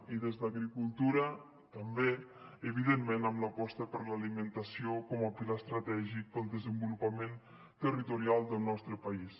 i des d’agricultura també evidentment amb l’aposta per l’alimentació com a pilar estratègic per al desenvolupament territorial del nostre país